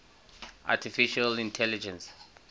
artificial intelligence